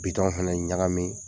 Bitɔn fana ɲagamin